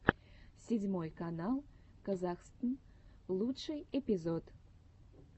седьмой канал казахстн лучший эпизод